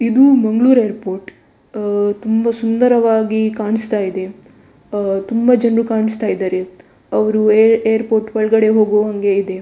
ಇದು ಮಂಗ್ಳೂರ್‌ ಏರ್‌ಪೋರ್ಟ್ ತುಂಬ ಸುಂದರವಾಗಿ ಕಾಣಿಸ್ತ ಇದೆ ಅಹ್ ತುಂಬ ಜನರು ಕಾಣಿಸ್ತಾ ಇದ್ದಾರೆ ಅವ್ರು ಏರ್‌ಪೋರ್ಟ್ ಒಳಗೆ ಹೋಗುವಂಗೆ ಇದೆ.